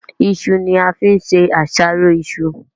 iṣu ni a fín ṣe àṣàrò iṣu.